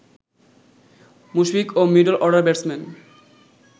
মুশফিক ও middle order batsman